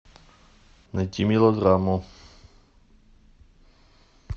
найти мелодраму